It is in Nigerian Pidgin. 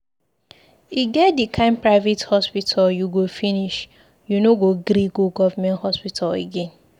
E get di kain private hospital you go finish, you no go gree go government hospital again.